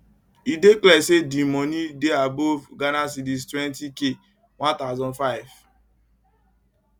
e dey clear say di moni dey above ghc 20k 1500